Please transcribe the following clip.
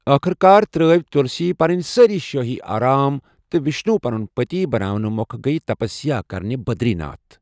ٲخٕر کار ترٲوۍ تلسی پنٕنۍ سٲرِی شٲہی آرام تہٕ وشنوٗ پنُن پتی بناونہٕ مۄکھ گٔیہ تپسیا کرنہِ بدری ناتھ۔